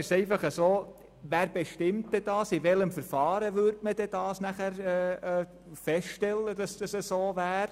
Doch wer bestimmt dies dann, und mit welchem Verfahren würde man feststellen, ob dem so ist?